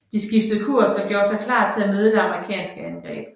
De skiftede kurs og gjorde sig klar til at møde det amerikanske angreb